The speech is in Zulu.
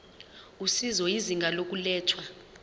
usizo izinga lokulethwa